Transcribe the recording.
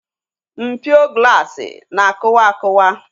Mpio glaasi na akụwa akuwa